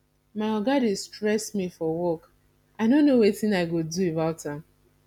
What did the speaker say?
my oga dey stress me for work and i no know wetin i go do about am